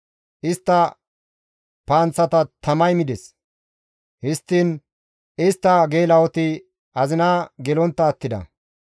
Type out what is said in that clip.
Istta panththata tamay mides; histtiin istta geela7oti azina gelontta attida.